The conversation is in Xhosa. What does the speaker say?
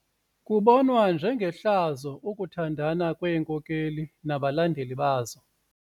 Kubonwa njengehlazo ukuthandana kweenkokeli nabalandeli bazo.